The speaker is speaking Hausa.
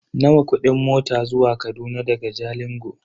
Nawa kudin mota zuwa Kaduna daga Jalingo?